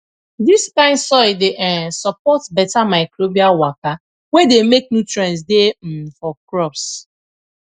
dis kind soil dey um support beta microbial waka wey dey make nutrients dey um for crops